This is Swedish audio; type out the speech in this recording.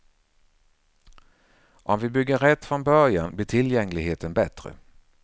Om vi bygger rätt från början blir tillgängligheten bättre.